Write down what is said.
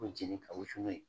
Ko jɛnni ka wusu n'a ye